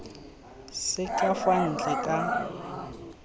se ka fa ntle ka